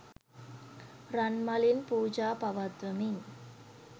රන් මලින් පූජා පවත්වමින්